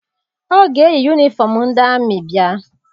Ọ ga-eyi yunifọm ndị amị bịa.